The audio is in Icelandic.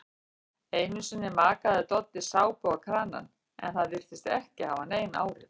Einusinni makaði Doddi sápu á kranann en það virtist ekki hafa nein áhrif.